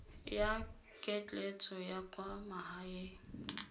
ya ketleetso ya kwa magaeng